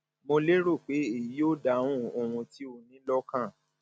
mo lérò pé èyí yóò dáhùn ohun tí o ní lọkàn